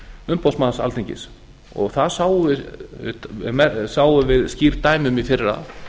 umboðsmanns alþingis það sáum við skýr dæmi um í fyrra